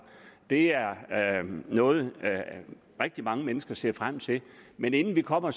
det er noget rigtig mange mennesker ser frem til men inden vi kommer